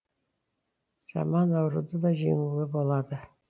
жаман ауруды да жеңуге болады